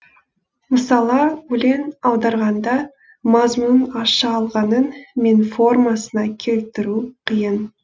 мысала өлең аударғанда мазмұнын аша алғаныңмен формасына келтіру қиын